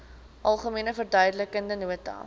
algemene verduidelikende nota